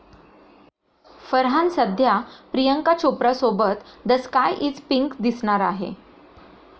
फरहान सध्या प्रियंका चोप्रासोबत the sky is pink दिसणार आहे.